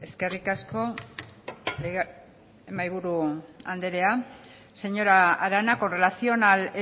eskerrik asko mahaiburu anderea señora arana con relación al